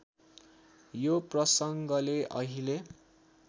यो प्रसङ्गले अहिले